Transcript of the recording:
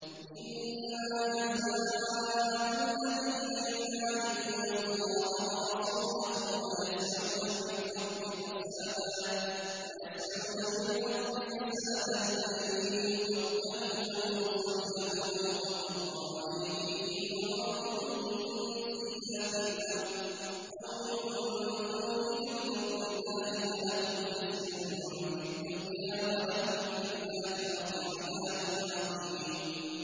إِنَّمَا جَزَاءُ الَّذِينَ يُحَارِبُونَ اللَّهَ وَرَسُولَهُ وَيَسْعَوْنَ فِي الْأَرْضِ فَسَادًا أَن يُقَتَّلُوا أَوْ يُصَلَّبُوا أَوْ تُقَطَّعَ أَيْدِيهِمْ وَأَرْجُلُهُم مِّنْ خِلَافٍ أَوْ يُنفَوْا مِنَ الْأَرْضِ ۚ ذَٰلِكَ لَهُمْ خِزْيٌ فِي الدُّنْيَا ۖ وَلَهُمْ فِي الْآخِرَةِ عَذَابٌ عَظِيمٌ